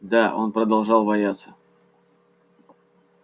да он продолжал бояться